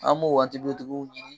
An m'o waati tigiw tigiw ɲini